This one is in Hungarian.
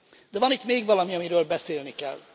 De van itt még valami, amiről beszélni kell.